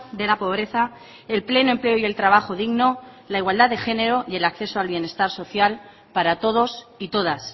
de la pobreza el pleno empleo y el trabajo digno la igualdad de género y el acceso al bienestar social para todos y todas